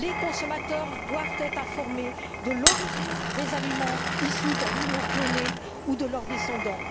Les consommateurs doivent être informés de l'origine des aliments issus d'animaux clonés ou de leurs descendants.